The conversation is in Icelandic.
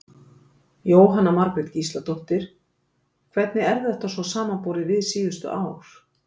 Jóhanna Margrét Gísladóttir: Hvernig er þetta svo samanborið við síðustu ár?